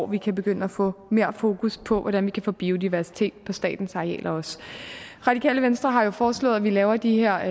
vi kan begynde at få mere fokus på hvordan vi kan få større biodiversitet på statens arealer også radikale venstre har jo foreslået at vi laver de her